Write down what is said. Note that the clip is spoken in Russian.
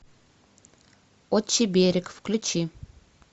отчий берег включи